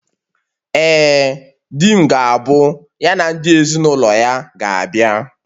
Ee, di m ga-abụ ya na ndị ezinụlọ ya ga-abịa